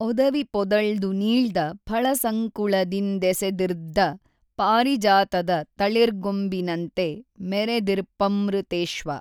ಒದವಿ ಪೊದಳ್ದು ನೀೞ್ದ ಫಳಸಂಕುಳದಿಂದೆಸೆದಿರ್ದ್ದ ಪಾರಿಜಾತದ ತಳಿರ್ಗೊಂಬಿನನ್ತೆ ಮೆಱೆದಿರ್ಪ್ಪಮೃತೇಶ್ವ